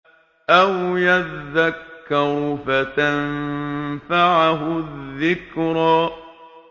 أَوْ يَذَّكَّرُ فَتَنفَعَهُ الذِّكْرَىٰ